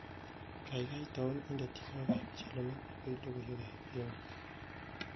Gaigai tau indene tyenwogik kab chelele ako logoywekab emet